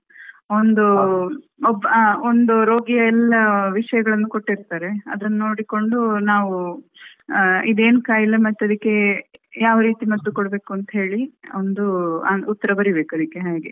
ಒಂದು ಆ ಒಬ್ಬ ಒಂದು ರೋಗಿಯ ಎಲ್ಲ ವಿಷಯಗಳನ್ನು ಕೊಟ್ಟಿರ್ತಾರೆ ಅದನ್ನು ನೋಡಿಕೊಂಡು ನಾವ್ ಅಹ್ ಇದೇನ್ ಕಾಯಿಲೆ ಮತ್ತೆ ಅದ್ಕೆ ಯಾವ ರೀತಿ ಮದ್ದು ಕೊಡ್ಬೇಕ್ ಅಂತ ಹೇಳಿ ಒಂದು ಅಹ್ ಉತ್ತ್ರಾ ಬರಿಬೇಕ್ ಅದಿಕ್ಕೆ ಹಾಗೆ